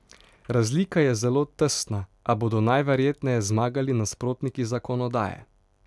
Razlika je zelo tesna, a bodo najverjetneje zmagali nasprotniki zakonodaje.